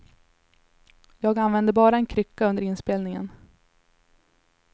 Jag använde bara en krycka under inspelningen.